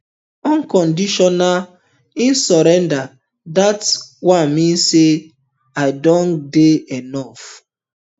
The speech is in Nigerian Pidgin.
unconditional um surrender dat um one mean say i don get enof